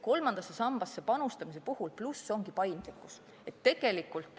Kolmandasse sambasse panustamise puhul pluss ongi paindlikkus.